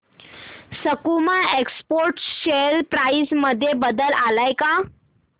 सकुमा exports share price मध्ये बदल आलाय का